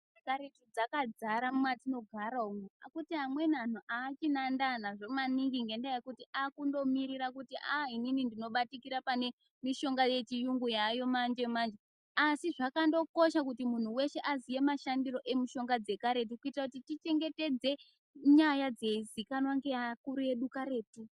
...dzekaretu dzakadzara mwatinogara umu. Asi kuti amweni anhu haachina ndaa nazvo maningi ngendaa yekuti aakundomirira kuti ah inini ndinobatikira pamishonga yechiyungu yaayo manje-manje. Asi zvakandokosha kuti munhu weshe aziya mashandiro emushonga dzekaretu kuitira kuti tichengetedze nyaya dzeizikanwa ngeakuru edu karetu.